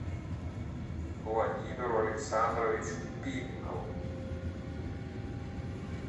владимиру александровичу пименову